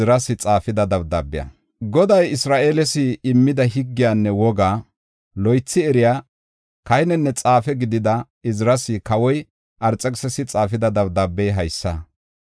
Goday Isra7eeles immida higgiyanne wogga, loythi eriya kahinenne xaafe gidida Iziras kawoy Arxekisisi xaafida dabdaabey haysa.